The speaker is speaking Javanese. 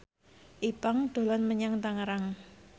Ipank dolan menyang Tangerang